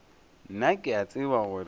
nna ke a tseba gore